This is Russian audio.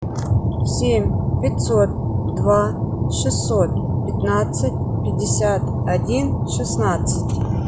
семь пятьсот два шестьсот пятнадцать пятьдесят один шестнадцать